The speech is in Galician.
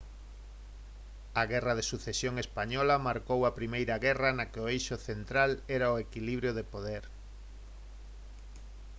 a guerra de sucesión española marcou a primeira guerra na que o eixo central era o equilibrio de poder